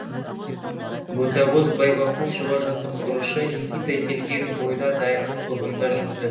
ботакөз байбақұшева жаттықтырушы никита келген бойда дайындық тобында жүрді